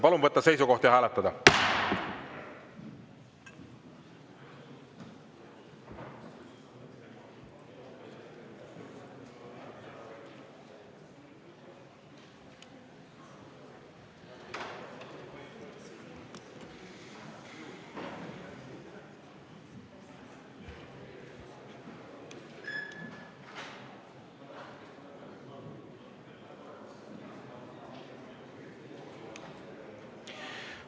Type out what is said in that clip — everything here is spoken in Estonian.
Palun võtta seisukoht ja hääletada!